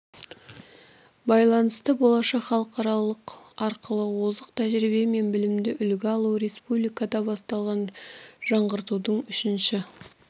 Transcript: байланысты болашақ халықаралық арқылы озық тәжірибе мен білімді үлгі алу республикада басталған жаңғыртудың үшінші